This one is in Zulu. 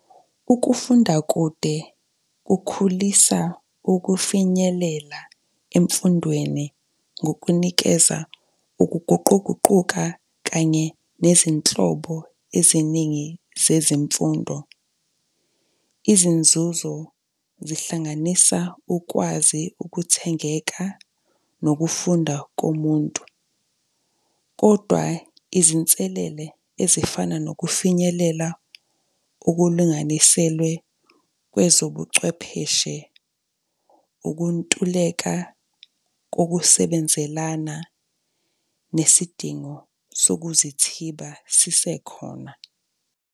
Ukufunda kude kukhulisa ukufinyelela emfundweni ngokunikeza ukuguquguquka, kanye nezinhlobo eziningi zezimfundo. Izinzuzo zihlanganisa ukwazi ukuthengeka, nokufunda komuntu. Kodwa izinselele ezifana nokufinyelela okulinganiselwe kwezobucwepheshe, ukuntuleka kokusebenzelana nesidingo sokuzithiba sisekhona.